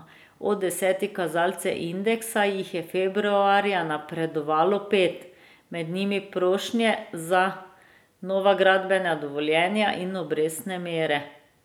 Od desetih kazalcev indeksa jih je februarja napredovalo pet, med njimi prošnje za nova gradbena dovoljenja in obrestne mere.